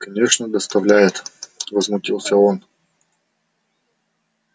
конечно доставляет возмутился он